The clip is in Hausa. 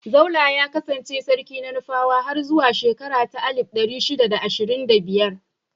Zaulla ya kassance sarki na Nufawa har zuwa shekara ta alif ɗari shida da ashirin da biyar.